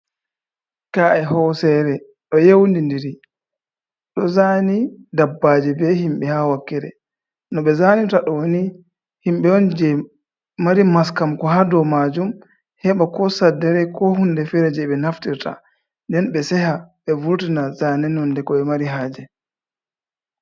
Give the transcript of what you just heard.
Ka’e hosere ɗo yeundi ndiri ɗo zane dabbaji be himɓe ha wakkere, no ɓe zani ta downi himɓe on je mari maskam ko ha dow majum heɓa ko saddare ko hunde fere je ɓe naftirta nden be seha be vurtina zane nonde ko ɓe mari haje.